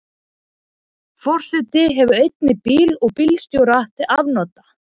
Forseti hefur einnig bíl og bílstjóra til afnota.